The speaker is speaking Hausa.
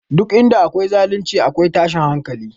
Duk inda akwai zalunci, akwai tashin hankali